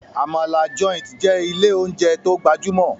Amala Joint jé ilé oúnjẹ tó gbajumo.